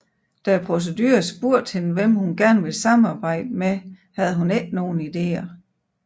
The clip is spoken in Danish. Da produceren spurgte hende hvem hun gerne ville samarbejde med havde hun ingen ideer